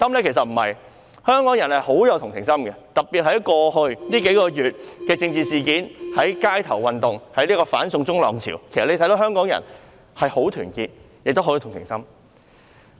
其實不是，香港人富有同情心，特別在過去數個月的政治事件、街頭運動、"反送中"浪潮上，其實大家可以看到香港人是十分團結亦有同情心的。